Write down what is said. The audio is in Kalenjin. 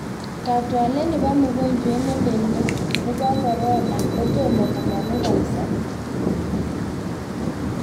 Kaatwolet napaa mugojwet nelel nepao korona kotoma komang'u kapsa.